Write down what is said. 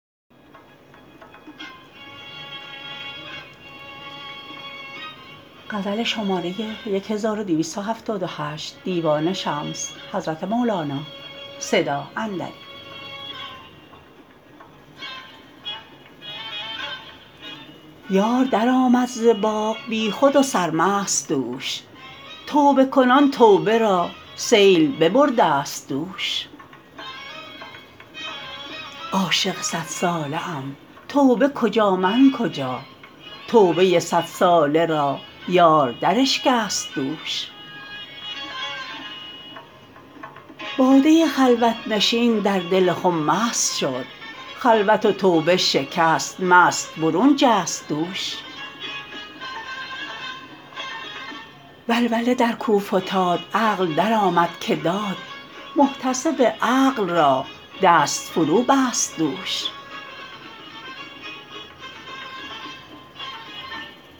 یار درآمد ز باغ بیخود و سرمست دوش توبه کنان توبه را سیل ببردست دوش عاشق صدساله ام توبه کجا من کجا توبه صدساله را یار دراشکست دوش باده خلوت نشین در دل خم مست شد خلوت و توبه شکست مست برون جست دوش ولوله در کو فتاد عقل درآمد که داد محتسب عقل را دست فروبست دوش